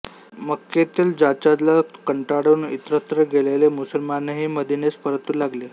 मक्केतील जाचाला कंटाळून इतरत्र गेलेले मुसलमानही मदिनेस परतु लागले